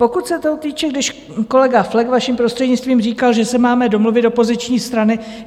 Pokud se toho týče, když kolega Flek, vaším prostřednictvím, říkal, že se máme domluvit - opoziční strany.